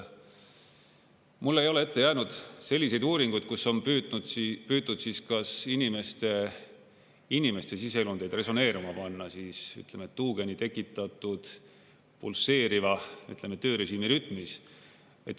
Mul ei ole ette jäänud selliseid uuringuid, kus on püütud inimeste siseelundeid resoneeruma panna tuugeni tekitatud pulseeriva töörežiimi rütmis.